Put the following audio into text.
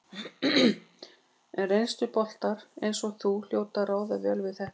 En reynsluboltar eins og þú hljóta að ráða vel við þetta?